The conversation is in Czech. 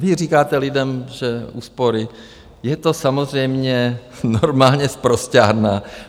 Vy říkáte lidem, že úspory, je to samozřejmě normálně sprosťárna.